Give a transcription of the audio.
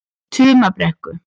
Tumabrekku